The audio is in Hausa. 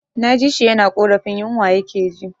Na ji shi yana ƙorafin yinwa ya ke ji